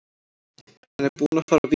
Hann er búinn að fara víða.